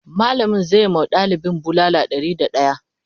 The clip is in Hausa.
mallamin zai ma ɗalibin bulala Ɗari da daya